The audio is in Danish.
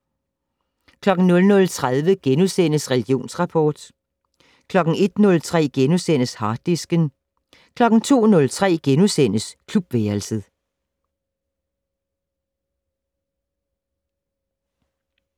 00:30: Religionsrapport * 01:03: Harddisken * 02:03: Klubværelset *